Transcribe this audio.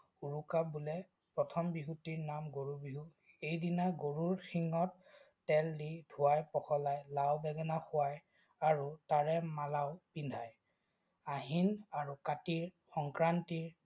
উৰুকা বোলে। প্ৰথম বিহুটিৰ নাম গৰু বিহু। সেইদিনা গৰুৰ শিঙত তেল দি ধুৱাই পখলাই লাও-বেঙেনা খুৱায় আৰু তাৰে মালাও পিন্ধায়। আহিন আৰু কাতিৰ সংক্ৰান্তিৰ